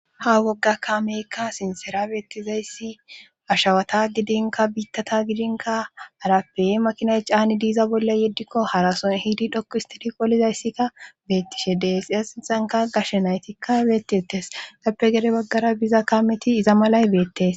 ha wogga kaameykka sinsera beettizayssi ashawata gidinka biittata gidinka arappe makinay caani diiza bolla yeddikko harason hiidi dhokkistidi qolizayssikka beettishe dees iza sinthanka gashe naytikka beettettes dappe gede baggara biza kaameti iza malay beettees